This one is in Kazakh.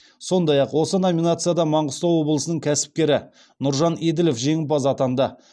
сондай ақ осы номинацияда маңғыстау облысының кәсіпкері нұржан еділов жеңімпаз атанды